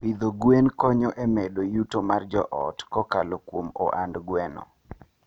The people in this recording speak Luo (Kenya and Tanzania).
Pidho gwen konyo e medo yuto mar joot kokalo kuom ohand gweno.